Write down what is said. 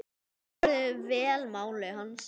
Menn svöruðu vel máli hans.